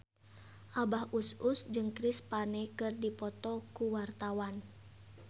Abah Us Us jeung Chris Pane keur dipoto ku wartawan